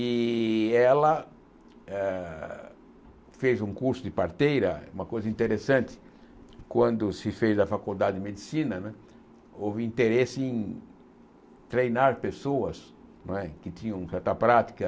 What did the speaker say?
E ela ah fez um curso de parteira, uma coisa interessante, quando se fez a faculdade de medicina, houve interesse em treinar pessoas não é que tinham certa prática.